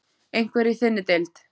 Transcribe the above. Einhver í þinni deild?